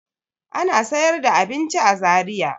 Ana sayar da abinci a Zariya.